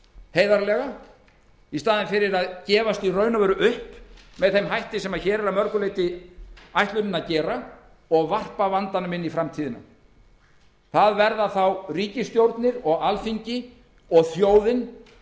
heiðarlega í staðinn fyrir að gefast upp með þeim hætti sem hér er að mörgu leyti ætlunin að gera og varpa vandanum inn í framtíðina það verða þá ríkisstjórnir og alþingi og þjóðin